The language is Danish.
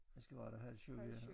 Jeg skal være der halv 7 ja